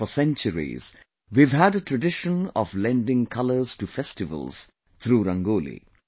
For centuries, we have had a tradition of lending colours to festivals through Rangoli